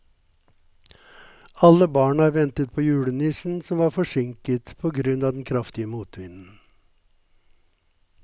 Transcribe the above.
Alle barna ventet på julenissen, som var forsinket på grunn av den kraftige motvinden.